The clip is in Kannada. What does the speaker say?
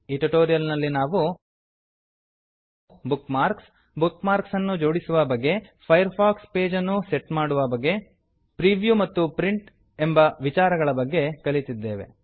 ಈ ಟ್ಯುಟೋರಿಯಲ್ ನಲ್ಲಿ ನಾವು ಬುಕ್ ಮಾರ್ಕ್ಸ್ ಬುಕ್ಮಾರ್ಕ್ಸ್ ಅನ್ನು ಜೋಡಿಸುವ ಬಗೆ ಫೈರ್ ಫಾಕ್ಸ್ ಪೇಜ್ ಅನ್ನು ಸೆಟ್ ಮಾಡುವ ಬಗೆ ಪ್ರಿವ್ಯೂ ಮತ್ತು ಪ್ರಿಂಟ್ ಎಂಬ ವಿಚಾರಗಳ ಬಗ್ಗೆ ಕಲಿತಿದ್ದೇವೆ